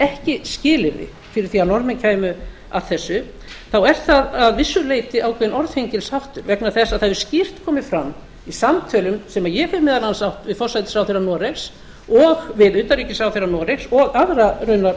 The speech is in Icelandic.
ekki skilyrði fyrir því að norðmenn kæmu að þessu þá er það að vissu leyti ákveðinn orðhengilsháttur vegna þess að það hefur skýrt komið fram í samtölum sem ég hef meðal annars átt við forsætisráðherra noregs og við utanríkisráðherra noregs og aðra raunar